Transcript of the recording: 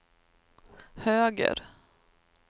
höger